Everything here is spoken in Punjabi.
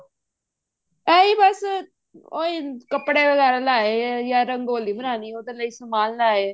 ਇਹੀ ਬੱਸ ਉਹੀ ਕੱਪੜੇ ਵਗੈਰਾ ਲੈ ਆਏ ਜਾਂ ਰੰਗੋਲੀ ਬਣਾਲੀ ਉਹਦੇ ਲਈ ਸਮਾਨ ਲੈ ਆਏ